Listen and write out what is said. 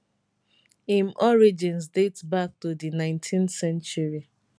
im origins date back to di 19th century